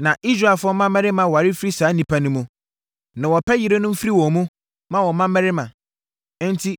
Na Israelfoɔ mmarima ware firi saa nnipa no mu, na wɔpɛ yerenom firi wɔn mu, ma wɔn mmammarima. Enti,